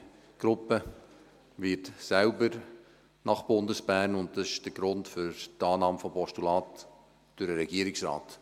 Die Gruppe wird selbst nach Bundesbern gehen, und dies ist der Grund für die Annahme des Postulats durch den Regierungsrat.